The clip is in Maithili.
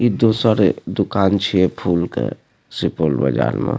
इ दोसर दुकान छीये फूल के सुपौल बाजार मे।